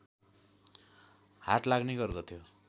हाट लाग्ने गर्दथ्यो